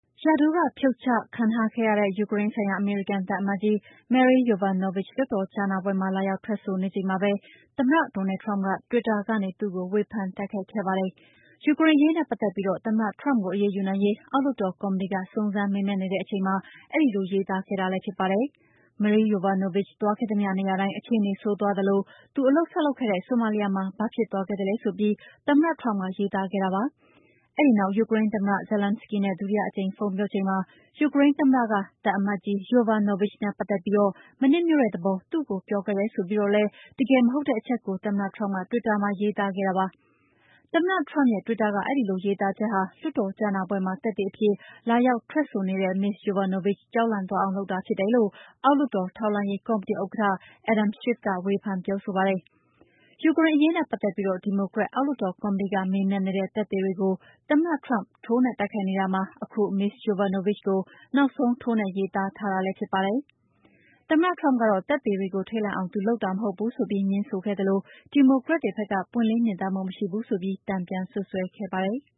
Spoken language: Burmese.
ရာထူးက ဖြုတ်ချခံထားခဲ့ရတဲ့ ယူကရိန်းဆိုင်ရာ အမေရိကန် သံအမတ်ကြီး Marie Yovanovitch လွှတ်တော်ကြားနာပွဲမှာ လာရောက်ထွက်ဆိုနေချိန်မှာပဲ သမ္မတ Donald Trump က တွစ်တာကနေ သူ့ကို ဝေဖန်တိုက်ခိုက်ခဲ့ပါတယ်။ ယူကရိန်းအရေးနဲ့ ပတ်သက်ပြီး သမ္မတ Trump ကို အရေးယူနိုင်ရေး အောက်လွှတ်တော် ကော်မတီက စုံစမ်းမေးမြန်းနေတဲ့အချိန်မှာ အဲဒီလို ရေးသားခဲ့တာလည်း ဖြစ်ပါတယ်။ Marie Yovanovitch သွားခဲ့သမျှနေရာတိုင်း အခြေအနေ ဆိုးသွားသလို သူအလုပ်စလုပ်ခဲ့တဲ့ ဆိုမာလီယာမှာ ဘာဖြစ်သွားခဲ့သလဲ ဆိုပြီး သမ္မတ Trump က ရေးခဲ့ပါတယ်။ အဲဒီနောက် ယူကရိန်းသမ္မတ Zelenskiy နဲ့ ဒုတိယအကြိမ် ဖုန်းပြောချိန်မှာ ယူကရိန်းသမ္မတက သံအမတ်ကြီး Yovanovitch နဲ့ ပတ်သက်ပြီး မနှစ်မြို့တဲ့သဘော သူ့ကိုပြောခဲ့တယ် ဆိုပြီးတော့လည်း တကယ်မဟုတ်တဲ့အချက်ကို သမ္မတ Trump က တွစ်တာမှာ ရေးသားခဲ့တာပါ။ သမ္မတ Trump ရဲ့ တွစ်တာက အဲဒီလိုရေးသားချက်ဟာ လွှတ်တော်ကြားနာပွဲမှာ သက်သေအဖြစ် လာရောက်ထွက်ဆိုနေတဲ့ Ms. Yovanovitch ကြောက်လန့်သွားအောင်လုပ်တာ ဖြစ်တယ်လို့ အောက်လွှတ်တော် ထောက်လှမ်းရေးကော်မတီ ဥက္ကဋ္ဌ Adam Schiff က ဝေဖန်ပြောဆိုပါတယ်။ ယူကရိန်းအရေးနဲ့ ပတ်သက်ပြီး ဒီမိုကရက် အောက်လွှတ်တော်ကော်မတီက မေးမြန်းနေတဲ့ သက်သေတွေကို သမ္မတ Trump က ထိုးနှက်တိုက်ခိုက်နေတာမှာ အခု Ms. Yovanovitch ကို နောက်ဆုံး ထိုးနှက်ရေးသားထားတာလည်း ဖြစ်ပါတယ်။ သမ္မတ Trump ကတော့ သက်သေတွေကို ထိတ်လန့်အောင် သူလုပ်တာမဟုတ်ဘူးဆိုပြီး ငြင်းဆိုခဲ့သလို ဒီမိုကရက်တွေဘက်က ပွင့်လင်းမြင်သာမှု မရှိဘူးဆိုပြီး တန်ပြန်စွပ်စွဲခဲ့တာပါ။